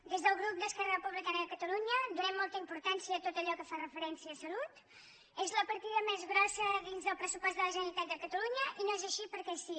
des del grup d’esquerra republicana de catalunya donem molta importància a tot allò que fa referència a salut és la partida més grossa dins el pressupost de la generalitat de catalunya i no és així perquè sí